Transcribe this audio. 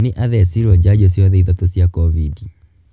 Nĩ athecirwo njanjo ciothe ithatu cia covid.